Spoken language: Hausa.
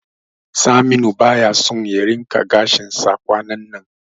Saminu baya so ya rinqa gashinsa kwanannan.